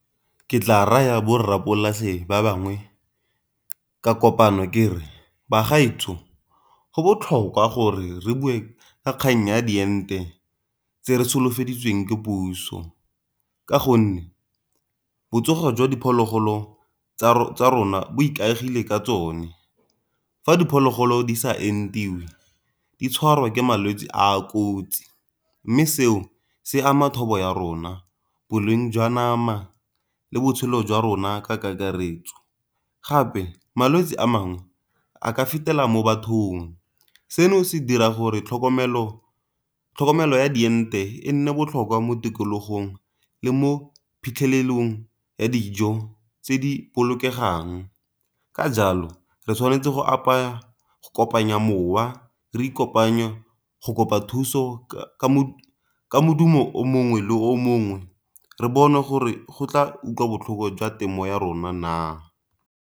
Ke tla raya bo rra polase ba bangwe ka kopano kere bagaetsho go botlhokwa gore re bue ka kgang ya diente tse re solofetsweng ke puso, ka gonne botsogo jwa diphologolo tsa rona bo ikaegile ka tsone. Fa diphologolo di sa entiwe di tshwarwa ke malwetse a kotsi, mme seo se ama thobo ya rona, boleng jwa nama, le botshelo jwa rona ka kakaretso. Gape malwetsi a mangwe a ka fetela mo bathong seno se dira gore tlhokomelo ya diente e nne botlhokwa mo tikologong le mo phitlhelelong ya dijo tse di bokegang, ka jalo re tshwanetse go apaya go kopanya mowa re kopanya mo go kopa thuso ka modumo o mongwe le o mongwe re bone gore go tla utlwa botlhoko jwa temo ya rona naa.